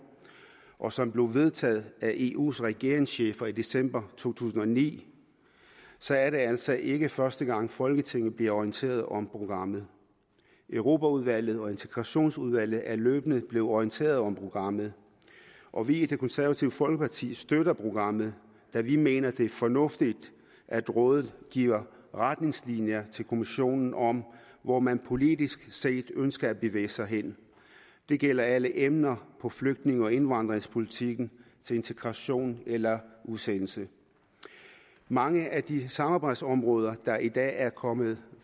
og som blev vedtaget af eus regeringschefer i december to tusind og ni så er det altså ikke første gang folketinget bliver orienteret om programmet europaudvalget og integrationsudvalget er løbende blevet orienteret om programmet og vi i det konservative folkeparti støtter programmet da vi mener det er fornuftigt at rådet giver retningslinjer til kommissionen om hvor man politisk set ønsker at bevæge sig hen det gælder alle emner på flygtninge og indvandringspolitikken til integration eller udsendelse mange af de samarbejdsområder der i dag er kommet